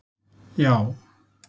já